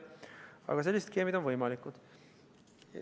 Aga sellised skeemid on võimalikud.